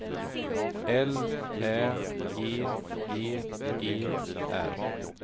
L Ä G G E R